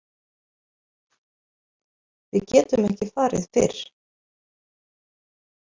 Við getum ekki farið fyrr.